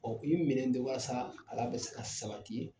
Ɔ u ye minɛn di walasa bɛ se ka sabati